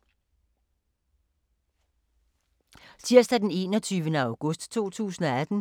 Tirsdag d. 21. august 2018